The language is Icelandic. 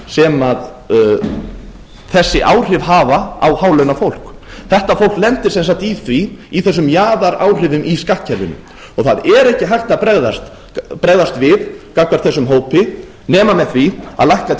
sem þessi áhrif hafa á hálaunafólks þetta fólk lendir sem sagt í því í þessum jaðaráhrifum í skattkerfinu og það er ekki hægt að bregðast við gagnvart þessum hópi nema með því að lækka